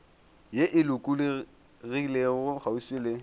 ye e lokologilego kgauswi le